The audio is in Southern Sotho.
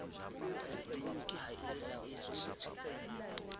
elektroniki ha e laollotswe setsheng